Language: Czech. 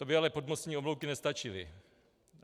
To by ale podmostní oblouky nestačily.